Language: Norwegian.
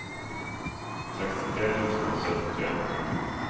sekstitre tusen og syttitre